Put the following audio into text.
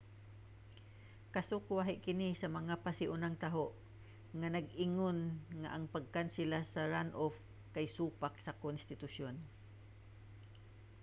kasukwahi kini sa mga pasiunang taho nga nag-ingon nga ang pagkansela sa runoff kay supak sa konstitusyon